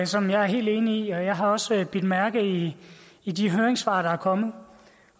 som jeg er helt enig i og jeg har også bidt mærke i i de høringssvar der er kommet